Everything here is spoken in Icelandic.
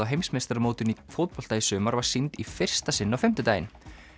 heimsmeistaramótinu í fótbolta í sumar var sýnd í fyrsta sinn á fimmtudaginn